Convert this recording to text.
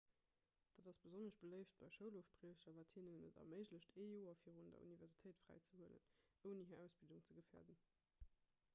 dat ass besonnesch beléift bei schoulofbriecher wat hinnen et erméiglecht ee joer virun der universitéit fräizehuelen ouni hir ausbildung ze gefäerden